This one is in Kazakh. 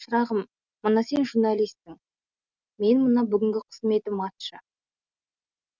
шырағым мына сен журналиссің мен мына бүгінгі қызметім атшы